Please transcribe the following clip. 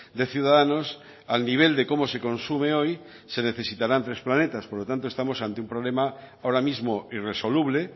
de ciudadanos al nivel de cómo se consume hoy se necesitarán tres planetas por lo tanto estamos ante un problema ahora mismo irresoluble